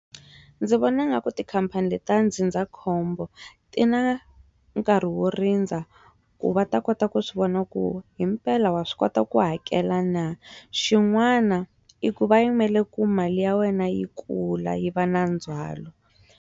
Ndzi vona nga ku tikhampani leti ta ndzindzakhombo ti na nkarhi wo rindza ku va ta kota ku swi vona ku himpela wa swi kota ku hakela na xin'wana i ku va yimele ku mali ya wena yi kula yi va na ndzwalo.